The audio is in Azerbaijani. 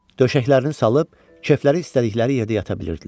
Döşəklərini salıb kefləri istədikləri yerdə yata bilirdilər.